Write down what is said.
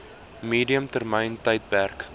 medium termyn tydperk